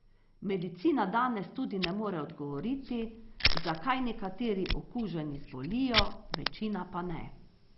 Medicina danes tudi ne more odgovoriti, zakaj nekateri okuženi zbolijo, večina pa ne.